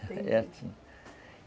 É assim.